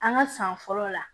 An ka san fɔlɔ la